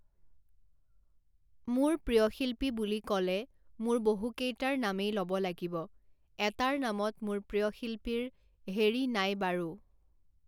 মোৰ প্ৰিয় শিল্পী বুলি ক'লে মোৰ বহুতকেইটাৰ নামেই ল'ব লাগিব, এটাৰ নামত মোৰ প্ৰিয় শিল্পী্ৰ হেৰি নাই বাৰু